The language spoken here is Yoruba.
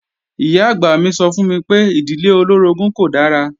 Ìyá-àgbà mi sọ fún mi pé ìdílé olóorogún kò dára